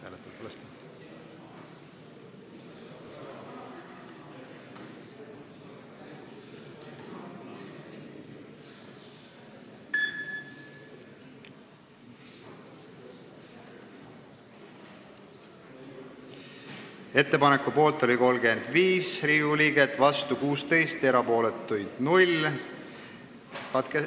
Hääletustulemused Ettepaneku poolt oli 35 ja vastu 16 Riigikogu liiget, erapooletuid oli 0.